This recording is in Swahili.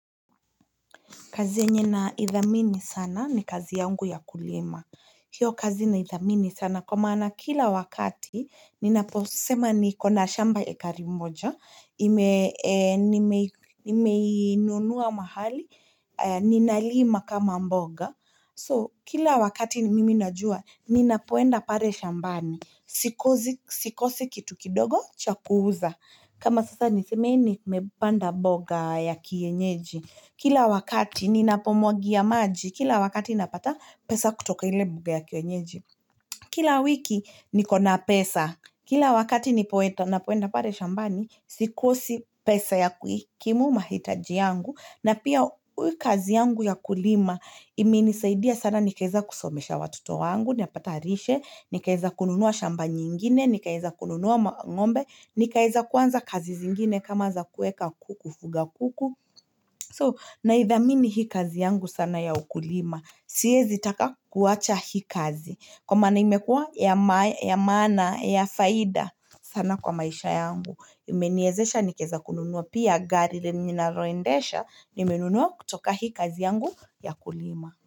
Kazi yenye na ithamini sana ni kazi yangu ya kulima hiyo kazi na ithamini sana kwa maana kila wakati nina posema nikona shamba eka moja nime nunua mahali nina lima kama mboga so kila wakati mimi najua nina poenda pale shambani sikosi kitu kidogo cha kuuza kama sasa niseme nimepanda mboga ya kiyenyeji kila wakati ninapomwagia maji kila wakati napata pesa kutoka ile mboga ya kiyenyeji kila wiki niko na pesa kila wakati ninapoenda napoenda pale shambani sikosi pesa ya kuikimu mahitaji yangu na pia hii kazi yangu ya kulima ime ni saidi ya sana ni kaza kusomesha watoto wangu napata rishe ni weza kununua shamba nyingine ni weza kununua ngombe ni weza kuanza kazi zingine kama za kuweka kuku kufuga kuku so na ithamini hii kazi yangu sana ya ukulima si wezi taka kuwacha hii kazi kwa maana ime kwa ya maana ya faida sana kwa maisha yangu ime ni wezesha nikaweza kununua pia gari lenye ninaloendesha nime nunua kutoka hii kazi yangu ya kulima.